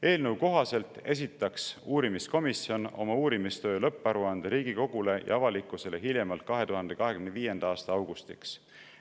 Eelnõu kohaselt esitaks uurimiskomisjon oma uurimistöö lõpparuande Riigikogule ja avalikkusele hiljemalt 2025. aasta augustiks.